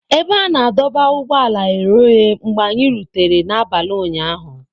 Ebe a na-adọba ụgbọala ghere oghe mgbe anyị rutere n'abalị ụnyahụ.